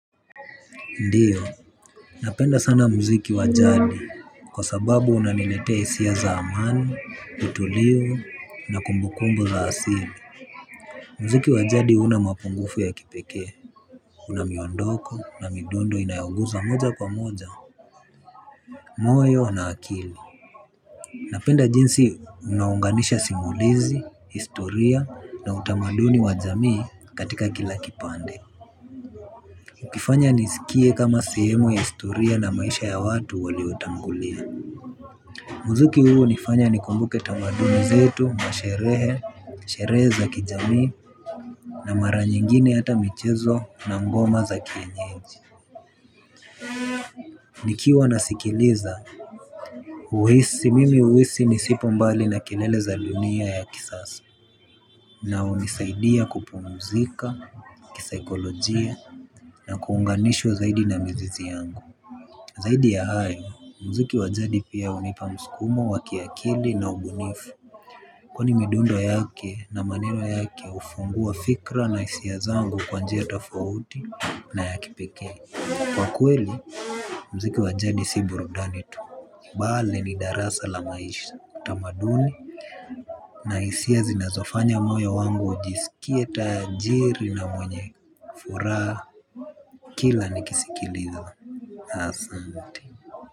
Ndiyo, napenda sana muziki wajadi kwa sababu unaninetea hisia za amani, utulivu na kumbukumbu za asili. Muziki wajadi una mapungufu ya kipeke, unamiondoko na midondo inayoguza moja kwa moja moyo na akili. Napenda jinsi una unganisha simulizi, historia na utamaduni wa jamii katika kila kipande. Kifanya nizikie kama sehemu ya historia na maisha ya watu waliotangulia. Muzuki huu hunifanya nikumbuke tamaduni zetu, masherehe, sherehe za kijami na mara nyingine hata michezo na ngoma za kienyeji. Nikiwa nasikiliza, huhisi mimi huhisi nisipo mbali na kilele za dunia ya kisasa. Na unisaidia kupumzika, kisaikolojia na kuunganishwa zaidi na mzizi yangu. Zaidi ya hayo muziki wajadi pia hunipa msikumo wakiakili na ubunifu. Kwani midundo yake na maneno yake ufungua fikra na isia zangu kwa njia tofauti na ya kipeke. Kwa kweli muziki wajadi si burudani tu bali ni darasa la maisha tamaduni na hisia zinazofanya moyo wangu ujisikie tajiri na mwenye furaha kila nikisikiliza asante.